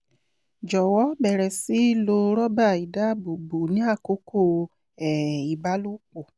jọwọ bẹ̀rẹ̀ sí lo rọ́bà í dáàbòbò ní àkókò um ìbálòpọ̀